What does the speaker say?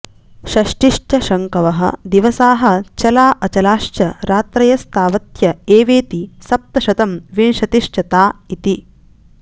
षष्टिश्च शङ्कवः दिवसाः चला अचलाश्च रात्रयस्तावत्य एवेति सप्तशतं विशतिश्च ता इति